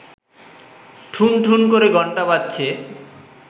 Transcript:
ঠুনঠুন করে ঘন্টা বাজছে